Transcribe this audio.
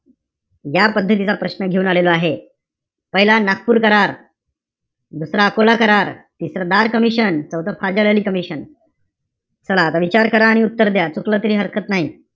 ज्या पद्धतीचा प्रश्न घेऊन आलेलो आहे. पहिला, नागपूर करार. दुसरा, अकोला करार. तिसरा, धार कमिशन. चौथं, फाझल अली कमिशन चला, आता विचार करा आणि उत्तर द्या. चुकलं तरी हरकत नाई.